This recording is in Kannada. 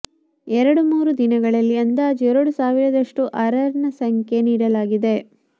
ಎರಡು ಮೂರು ದಿನಗಳಲ್ಲಿ ಅಂದಾಜು ಎರಡು ಸಾವಿರದಷ್ಟು ಆರ್ಆರ್ ಸಂಖ್ಯೆ ನೀಡಲಾಗಿದೆ